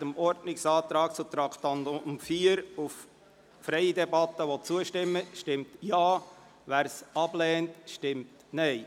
Wer dem Ordnungsantrag auf freie Debatte betreffend Traktandum 4 zustimmt, stimmt Ja, wer diesen ablehnt, stimmt Nein.